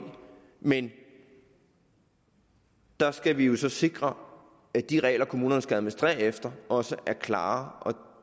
men der skal vi jo så sikre at de regler kommunerne skal administrere efter også er klare og